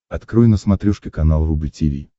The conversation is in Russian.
открой на смотрешке канал рубль ти ви